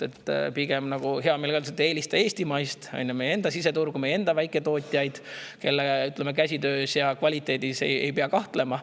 Pigem hea meelega, nagu öeldakse: eelista eestimaist, meie enda siseturgu, meie enda väiketootjaid, kelle käsitöö kvaliteedis ei pea kahtlema.